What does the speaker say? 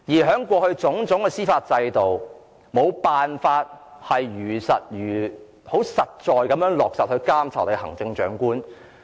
在我們的司法制度下，我們過去無法切實監察行政長官。